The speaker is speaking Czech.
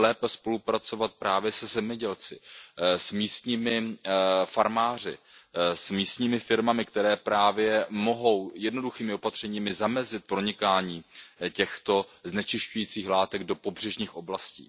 Musíme lépe spolupracovat právě se zemědělci, s místními farmáři, s místními firmami, které právě mohou jednoduchými opatřeními zamezit pronikání těchto znečisťujících látek do pobřežních oblastí.